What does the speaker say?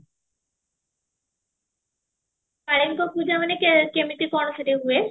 କାଳୀଙ୍କ ପୂଜା ମାନେ କେ କେମିତି କଣ ସେଠି ହୁଏ